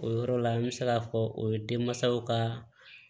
O yɔrɔ la an bɛ se k'a fɔ o ye denmansaw ka